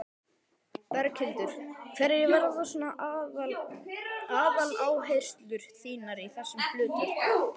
Berghildur: Hverjar verða svona aðaláherslur þínar í þessu hlutverki?